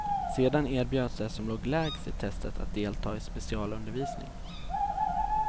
Sedan erbjöds de som låg lägst i testet att delta i specialundervisning.